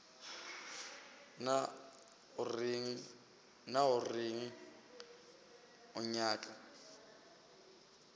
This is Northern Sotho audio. na o reng o nyaka